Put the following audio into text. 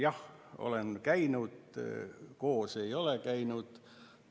Jah, olen kohal käinud, koos me ei ole käinud.